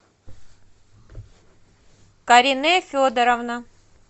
карине федоровна